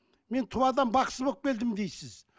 мен туадан бақсы болып келдім дейсіз